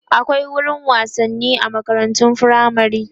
akwai wurin wasanni a makarantun firamare